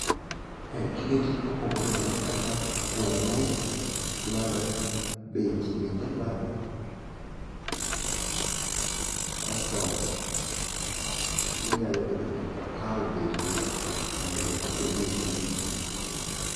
Gige tich mopogore opogore kaka kweru dwarore ,beti bende dwarore kasto inyalo bedo gi opawo bende mondo mi okonyi e tijni.